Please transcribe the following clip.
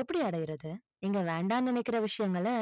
எப்படி அடையறது, நீங்க வேண்டான்னு நினைக்கிற விஷயங்களை,